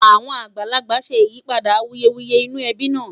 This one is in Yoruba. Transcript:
àwọn àgbààgbà ṣé ìyípadà awuyewuye inú ẹbi nà